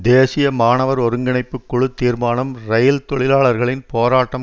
தேசிய மாணவர் ஒருங்கிணைப்பு குழு தீர்மானம் இரயில் தொழிலாளர்களின் போராட்டம்